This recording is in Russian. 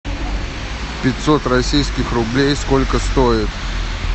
пятьсот российских рублей сколько стоит